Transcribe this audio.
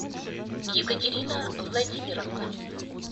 екатерина владимировна